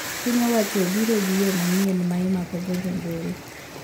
Piny owacho obiro gi yoo manyien ma imako go jo njore